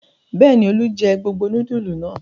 Bẹ́ẹ̀ ni, Olú jẹ gbogbo núdúlù náà.